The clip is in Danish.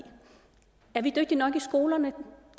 er vi dygtige nok i skolerne